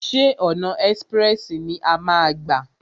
Ṣé ọ̀nà ẹ́sprẹ̀sì ni a máa a gbà?